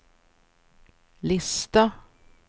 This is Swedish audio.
lista